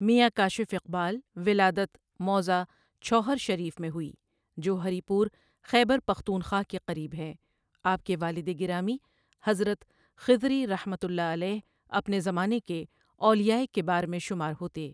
ؐمیاں کاشف اقبال ولادت موضع چھوہر شریف میں ہوئی جو ہری پور خیبر پختونخوا کے قریب ہے آپ کے والد گرامی حضرت خضری رحمۃ اللہ علیہ اپنے زمانے کے اولیائے کبار میں شمار ہوتے ۔